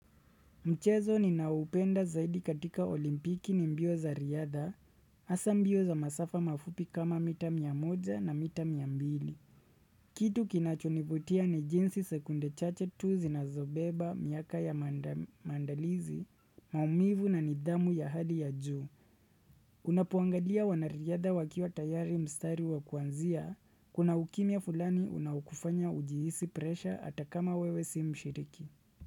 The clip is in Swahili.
Mchezo ninaoupenda zaidi katika olimpiki ni mbio za riadha, hasa mbio za masafa mafupi kama mita mia moja na mita mia mbili. Kitu kinachonivutia ni jinsi sekunde chache tu zinazobeba, miaka ya mandalizi, maumivu na nidhamu ya hali ya juu. Unapuangalia wanariadha wakiwa tayari mstari wa kuanzia, kuna ukimya fulani unaokufanya ujihisi presha hata kama wewe si mshiriki.